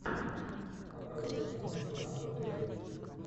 показывай киношку жанра триллер